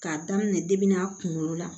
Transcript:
K'a daminɛ a kunkolo la